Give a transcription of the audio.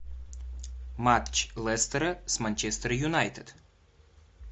матч лестера с манчестер юнайтед